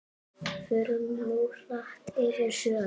Förum nú hratt yfir sögu.